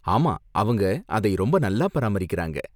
ஆமா, அவங்க அதை ரொம்ப நல்லா பாராமரிக்குறாங்க.